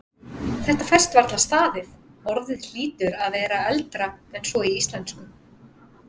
Þetta fæst varla staðist, orðið hlýtur að vera eldra en svo í íslensku.